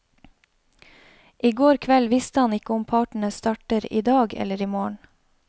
I går kveld visste han ikke om partene starter i dag eller i morgen.